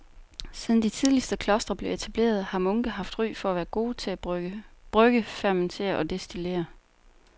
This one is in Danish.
Siden de tidligste klostre blev etableret har munke haft ry for at være gode til at brygge, fermentere og destillere.